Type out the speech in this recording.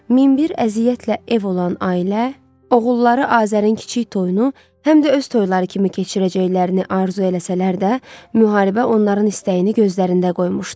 Min bir əziyyətlə ev olan ailə, oğulları Azərin kiçik toyunu həm də öz toyları kimi keçirəcəklərini arzu eləsələr də, müharibə onların istəyini gözlərində qoymuşdu.